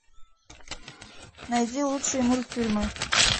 найди лучшие мультфильмы